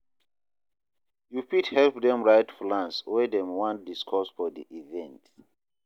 yu fit help dem write plans wey dem wan discuss for di event